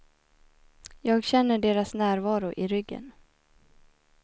Jag känner deras närvaro i ryggen.